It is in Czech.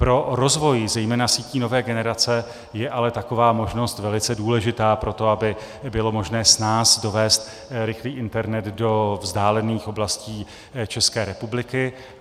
Pro rozvoj zejména sítí nové generace je ale taková možnost velice důležitá pro to, aby bylo možné snáz dovést rychlý internet do vzdálených oblastí České republiky.